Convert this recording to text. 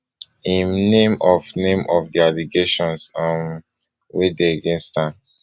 im name of name of di allegations um wey dey against am